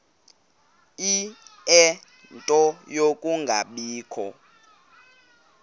ie nto yokungabikho